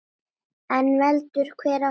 En veldur hver á heldur.